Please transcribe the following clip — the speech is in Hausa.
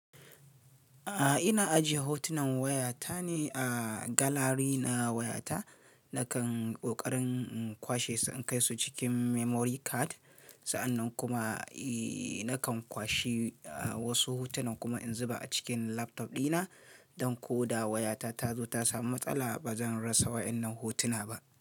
A ina ajiye hotunan wayata ne a galary na wayata. Nakan ɓokarin kwashe su in kai su cikin memory card. Sa'annan kuma eh nakan kwashe wasu hotunan kuma in zuba a cikin laptop dina don ko da wayata ta zo ta samu matsala ba zan rasa wa'innan hotuna ba.